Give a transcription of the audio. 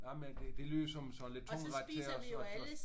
Jamen det det lyder som sådan en lidt tung ret til os